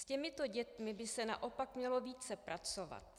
S těmito dětmi by se naopak mělo více pracovat.